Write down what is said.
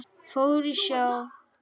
Fór í sjó.